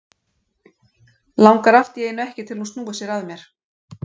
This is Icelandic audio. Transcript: Langar allt í einu ekki til að hún snúi sér að mér.